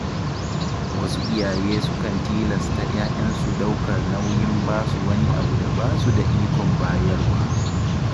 Wasu iyaye sukan tilasta ‘ya‘yansu ɗaukar nauyin basu wani abu da ba su da iko bayarwa.